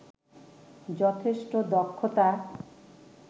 যথেষ্ট দক্ষতা